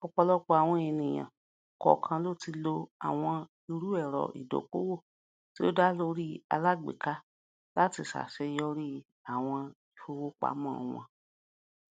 ọpọlọpọ àwọn ènìyàn kọọkan ti lo àwọn irúẹrọ ìdókòwò tí ó dá lórí alágbèéká láti ṣàṣeyọrí àwọn ìfowopamọ wọn